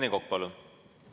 Rene Kokk, palun!